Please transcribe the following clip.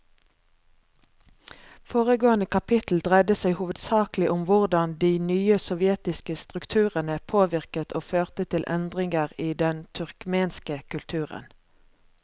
Foregående kapittel dreide seg hovedsakelig om hvordan de nye sovjetiske strukturene påvirket og førte til endringer i den turkmenske kulturen.